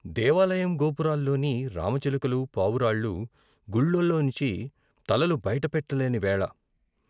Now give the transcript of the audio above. దేవాలయం గోపురాల్లోని రామ చిలుకలు, పావురాళ్లూ గుళ్ళల్లో నించి తలలు బయట పెట్టలేని వేళ.